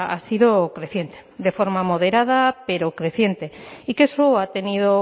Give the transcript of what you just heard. ha sido creciente de forma moderada pero creciente y que eso ha tenido